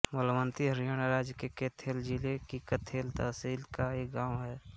बलवन्ती हरियाणा राज्य के कैथल जिले की कैथल तहसील का एक गाँव है